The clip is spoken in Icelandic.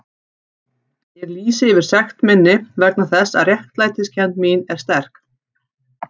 Ég lýsi yfir sekt minni vegna þess að réttlætiskennd mín er sterk.